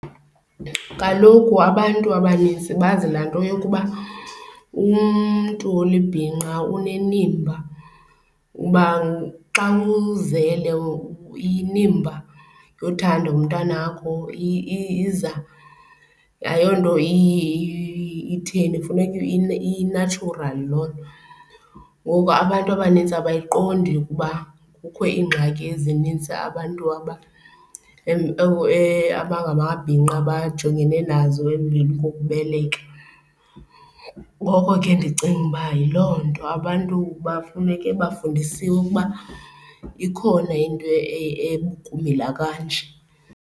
Kaloku abantu abanintsi bazi lanto yokuba umntu olibhinqa unenimba, uba xa uzele inimba yothanda umntwana wakho iza, ayonto itheni, kufuneka i-natural loo nto. Ngoku abantu abanintsi abayiqondi ukuba kukho iingxaki ezinintsi abantu abangamabhinqa abajongene nazo emveni kokubeleka. Ngoko ke ndicinga uba yiloo nto, abantu bafuneke bafundisiwe ukuba ikhona into ekumila kanje.